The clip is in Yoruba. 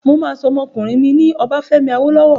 Mà á sọ ọmọkùnrin mi ní Obafemi Awolowo.